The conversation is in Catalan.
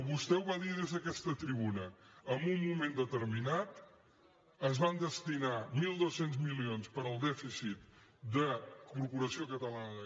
vostè ho va dir des d’aquesta tribuna en un moment determinat es van destinar mil dos cents milions per al dèficit de la corporació catalana de